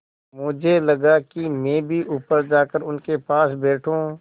मुझे लगा कि मैं भी ऊपर जाकर उनके पास बैठूँ